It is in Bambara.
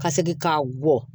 Ka segin ka bɔ